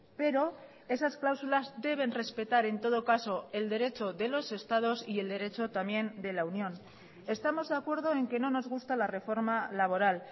pero esas cláusulas deben respetar en todo caso el derecho de los estados y el derecho también de la unión estamos de acuerdo en que no nos gusta la reforma laboral